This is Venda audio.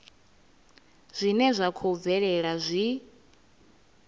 zwine zwa khou bvelela zwi